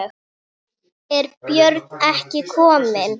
Er Björn ekki kominn?